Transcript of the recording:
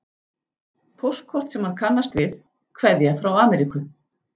Póstkort sem hann kannast við, kveðja frá Ameríku.